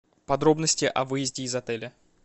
подробности о выезде из отеля